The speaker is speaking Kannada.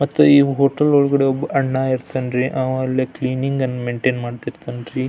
ಮತ್ತೆ ಈ ಹೋಟೆಲ್ ಒಳಗಡೆ ಒಬ್ಬ ಅಣ್ಣ ಇರ್ತಾನ್ರೀ ಆವಾ ಇಲ್ಲಿ ಕ್ಲೀನಿಂಗ್ ನ್ನು ಮೈನ್ಟೈನ್ ಮಾಡ್ತಾ ಇರ್ತಾನ್ರಿ.